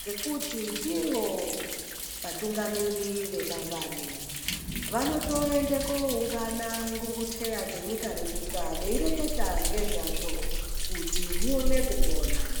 ngekuti ndivo vatungamiri vemangwani, vanotoende koungana ngunguteya dzenyika nenyika veireketa ngezvazvo kuti huone kupona.